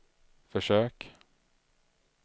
försök